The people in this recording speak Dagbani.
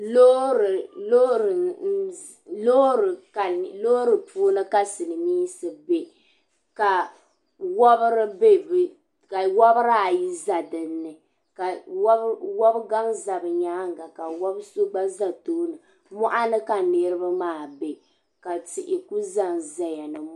Loori puuni ka Silimiinsi biɛ ka wobiraayi za din ni ka wobigaŋ za bɛ nyaaŋa ka wobi so gba za tooni moɣuni ka niribi maa bɛi ka tihi ku zanzaya ni.